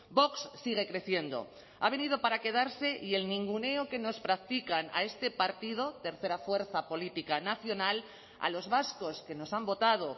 vox sigue creciendo ha venido para quedarse y el ninguneo que nos practican a este partido tercera fuerza política nacional a los vascos que nos han votado